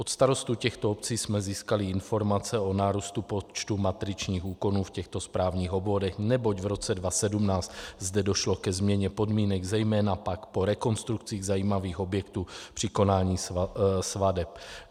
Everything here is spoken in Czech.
Od starostů těchto obcí jsme získali informace o nárůstu počtu matričních úkonů v těchto správních obvodech, neboť v roce 2017 zde došlo ke změně podmínek, zejména pak po rekonstrukcích zajímavých objektů, při konání svateb.